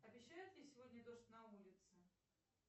обещают ли сегодня дождь на улице